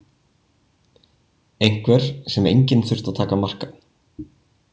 Einhver sem enginn þurfti að taka mark á.